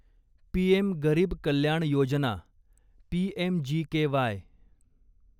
PM Garib Kalyan Yojana PMGKY